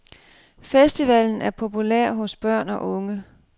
Festivalen er populær hos børn og unge.